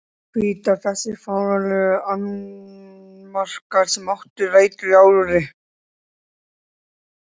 Hvítár Þessir fáránlegu annmarkar, sem áttu rætur í áróðri